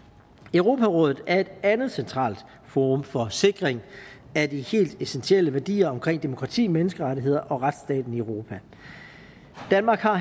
europarådet er et andet centralt forum for sikring af de helt essentielle værdier omkring demokrati menneskerettigheder og retsstaten i europa danmark har